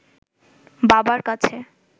বাবার কাছে